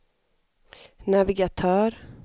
navigatör